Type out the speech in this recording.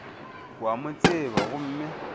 o a mo tseba gomme